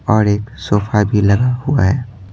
और एक सोफा भी लगा हुआ है।